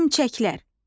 Hörümçəklər.